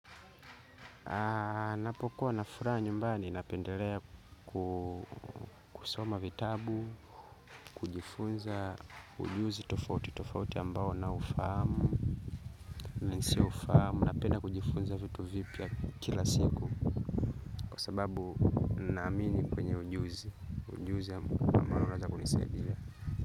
Anapokuwa na furaha nyumbani napendelea kusoma vitabu, kujifunza ujuzi tofauti tofauti ambao naufahamu. Na nisioufahamu napenda kujifunza vitu vipya kila siku. Kwa sababu naamini kwenye ujuzi, ujuzi ambao unaweza kunisaidia.